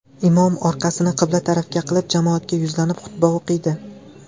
Imom orqasini qibla tarafga qilib jamoatga yuzlanib xutba o‘qiydi.